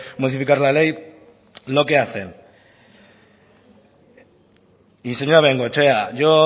modificar la ley lo que hacen y señora bengochea yo